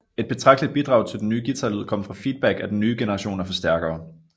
Et betragteligt bidrag til den nye guitarlyd kom fra feedback af den nye generation af forstærkere